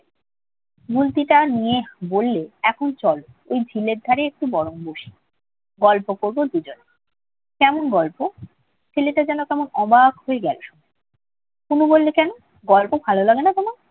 গুলতিটা নিয়ে বললে, এখন চল। ওই ঝিলের ধারেএকটু বরং বসি। গল্প করব দুজনে। কেমন গল্প? ছেলেটা যেন কেমন অবাক হয়ে গেল শুনে। তনু বলল, কেন গল্প ভালো লাগে না তোমার?